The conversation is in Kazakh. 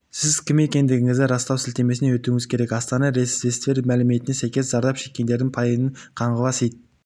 сіз кім екендігіңізді растау сілтемесіне өтуіңіз керек астана ветсервис мәліметіне сәйкес зардап шекккендердің пайызын қаңғыбас ит